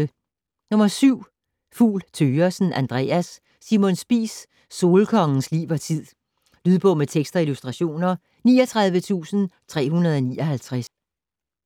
Fugl Thøgersen, Andreas: Simon Spies: solkongens liv og tid Lydbog med tekst og illustrationer 39359